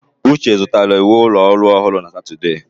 Uche zụtara uwe ụlọ ọrụ ọhụrụ na Satọde.